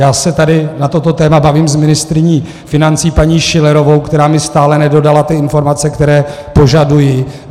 Já se tady na toto téma bavím s ministryní financí paní Schillerovou, která mi stále nedodala ty informace, které požaduji.